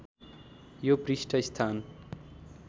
यो पृष्ठ स्थान